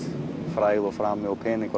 frægð frami og peningar